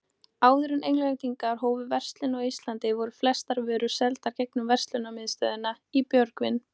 Áður en Englendingar hófu verslun á Íslandi, voru flestar vörur seldar gegnum verslunarmiðstöðina í Björgvin.